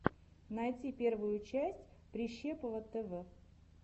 найти первую часть прищепова тв